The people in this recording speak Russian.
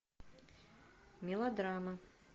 мелодрамы